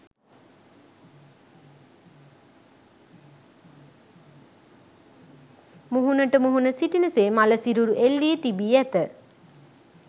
මුහුණට මුහුණ සිටින සේ මළ සිරුරු එල්ලී තිබී ඇත